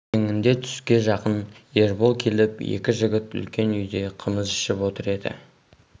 ертеңінде түске жақын ербол келіп екі жігіт үлкен үйде қымыз ішіп отыр еді